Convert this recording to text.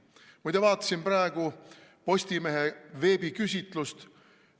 Muide, ma vaatasin praegu Postimehe veebiküsitlust.